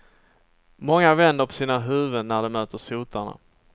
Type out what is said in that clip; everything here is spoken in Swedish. Många vänder på sina huvuden när de möter sotarna.